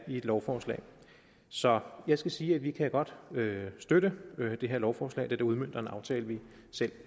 lovforslag så jeg skal sige at vi godt kan støtte det her lovforslag da det udmønter en aftale vi selv